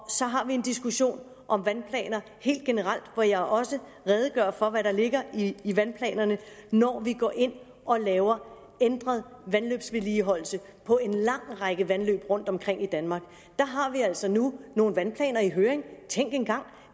så har vi en diskussion om vandplanerne helt generelt hvor jeg også redegør for hvad der ligger i vandplanerne når vi går ind og laver ændret vandløbsvedligeholdelse på en lang række vandløb rundtomkring i danmark der har vi altså nu nogle vandplaner i høring tænk engang